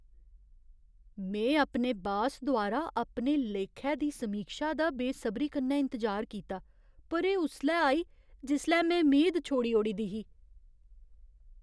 में अपने बास द्वारा अपने लेखै दी समीक्षा दा बेसबरी कन्नै इंतजार कीता, पर एह् उसलै आई जिसलै में मेद छोड़ी ओड़ी दी ही।